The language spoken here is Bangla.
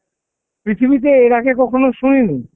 পৃথিবীতে এর আগে কখনো শুনিনি